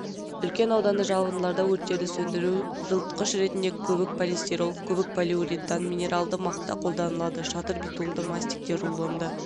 үлкен ауданды жабындыларда өрттерді сөндіру жылытқыш ретінде көбікполистирол көбікполиуритан минералды мақта қолданылады шатыр битумды мастикте рулонды